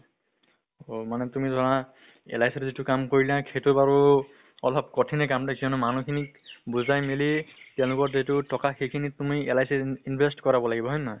অ মানে তুমি ধৰা LIC ত যিটো কাম কৰা সেইটো বাৰু অলপ কঠিনে কাম কিয়্নো মানুহ খিনিক বুজাই মেলি তেওঁলোকৰ যিটো ট্কা সেই খিনি তুমি LIC ত ইন invest কৰাব লাগিব, হয় নে নহয়?